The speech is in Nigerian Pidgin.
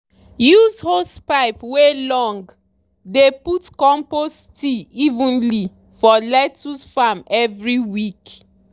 use hosepipe wey long dey put compost tea evenly for lettuce farm every week.